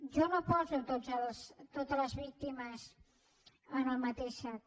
jo no poso totes les víctimes en el mateix sac